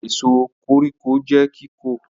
Èso koríko jẹ́ kóko.